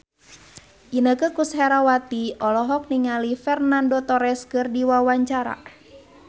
Inneke Koesherawati olohok ningali Fernando Torres keur diwawancara